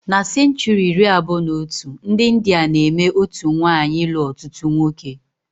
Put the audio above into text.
Na senchuri iri abụọ na otu, ndi India na-eme otú nwaanyị ilu ọtụtụ nwoke